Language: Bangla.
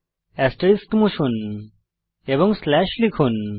এস্টেরিস্ক মুছুন এবং স্লাশ লিখুন